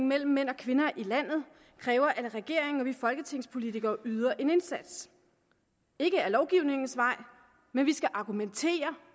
mellem mænd og kvinder i landet kræver at regeringen og vi folketingspolitikere yder en indsats ikke ad lovgivningens vej men vi skal argumentere